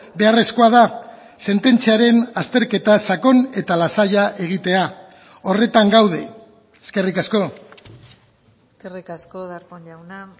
beharrezkoa da sententziaren azterketa sakon eta lasaia egitea horretan gaude eskerrik asko eskerrik asko darpón jauna